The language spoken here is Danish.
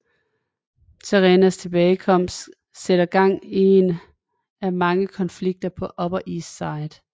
Serenas tilbagekomst sætter gang i en af mange konflikter på Upper East Side